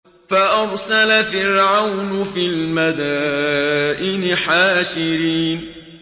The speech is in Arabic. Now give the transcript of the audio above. فَأَرْسَلَ فِرْعَوْنُ فِي الْمَدَائِنِ حَاشِرِينَ